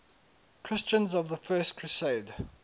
christians of the first crusade